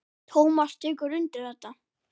Tómas tekur undir þetta.